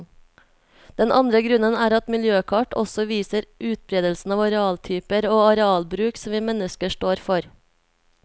Den andre grunnen er at miljøkart også viser utberedelsen av arealtyper og arealbruk som vi mennesker står for.